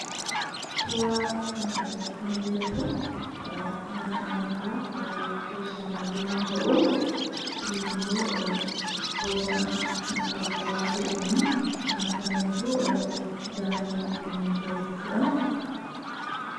Suuraa kana irratti kan mul'atu mana amantaa Kiristaanaa yommuu ta'u, kunis immoo bosona magariisawaa ta'eenii marfameetu ijaaramee argamee jira jechuu dhaa.